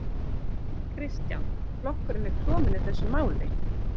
Kristján: Flokkurinn er klofinn í þessu máli?